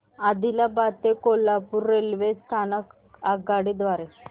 आदिलाबाद ते कोल्हापूर रेल्वे स्थानक आगगाडी द्वारे